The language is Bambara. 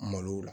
Malow la